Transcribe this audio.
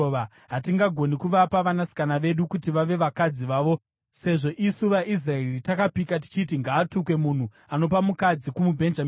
Hatigoni kuvapa vanasikana vedu kuti vave vakadzi vavo sezvo isu vaIsraeri takapika tichiti, ‘Ngaatukwe munhu anopa mukadzi kumuBhenjamini.’